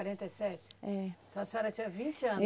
e sete. É. Então a senhora tinha vinte anos